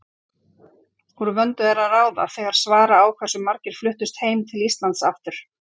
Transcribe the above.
Úr vöndu er að ráða þegar svara á hversu margir fluttust heim til Íslands aftur.